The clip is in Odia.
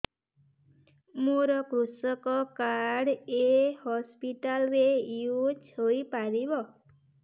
ମୋର କୃଷକ କାର୍ଡ ଏ ହସପିଟାଲ ରେ ୟୁଜ଼ ହୋଇପାରିବ